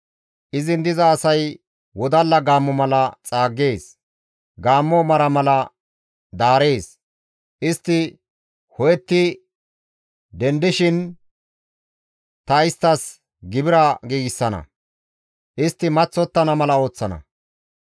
Izin diza asay wodalla gaammo mala xaaggees; gaammo mara mala daarees; istti ho7etti dendettishin ta isttas gibira giigsana; istti maththottana mala ooththana.